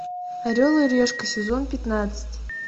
орел и решка сезон пятнадцать